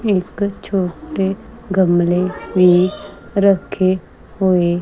ਇੱਕ ਛੋਟੇ ਗਮਲੇ ਵੀ ਰੱਖੇ ਹੋਏ।